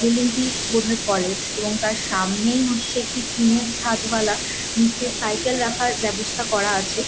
Building বোধয় college এবং তার সামনেই হচ্ছে একটি টিনের চাদ ওয়ালা নিচে সাইকেল রাখার ব্যবস্থা করা আছে ।